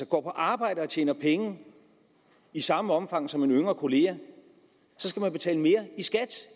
går på arbejde og tjener penge i samme omfang som en yngre kollega så skal man betale mere i skat